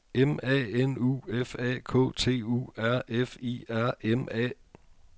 M A N U F A K T U R F I R M A